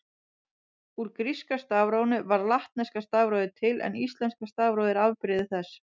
Úr gríska stafrófinu varð latneska stafrófið til en íslenska stafrófið er afbrigði þess.